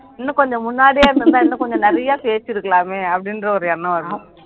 இன்னும் கொஞ்சம் முன்னாடியே இருந்திருந்தா இன்னும் கொஞ்சம் நிறையா பேசி இருக்கலாமே அப்படின்ற ஒரு எண்ணம் வருது